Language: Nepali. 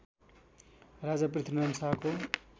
राजा पृथ्वीनारायण शाहको